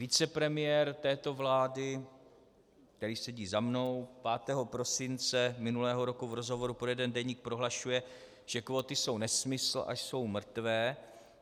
Vicepremiér této vlády, který sedí za mnou , 5. prosince minulého roku v rozhovoru pro jeden deník prohlašuje, že kvóty jsou nesmysl a jsou mrtvé.